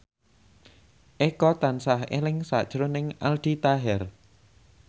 Eko tansah eling sakjroning Aldi Taher